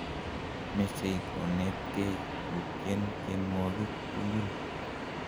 mechei konetgei kutyen tyenwogik tigul